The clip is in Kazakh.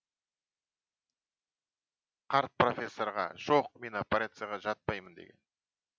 қарт профессорға жоқ мен операцияға жатпаймын деген